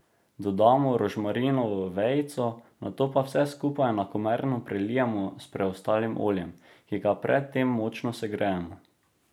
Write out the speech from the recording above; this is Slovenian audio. Dodamo rožmarinovo vejico, nato pa vse skupaj enakomerno prelijemo s preostalim oljem, ki ga pred tem močneje segrejemo.